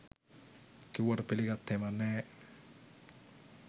කිව්වට පිලිගත්තෙම නෑ